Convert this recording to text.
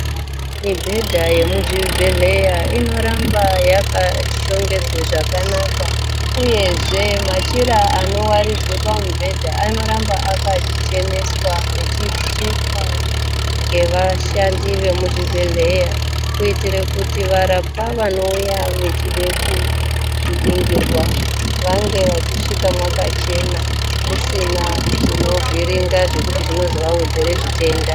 Mubhedha yemuzvibhedhlera inoramba yakashongedzwa zvakanaka uyezve machira anowaridzwa pamubhedha anoramba akacheneswa echisukwa nevashandi kuitira kuti varapwa vanenge vachiuya koningirwa vauye makachena musina zvozovhiringidza vatenda.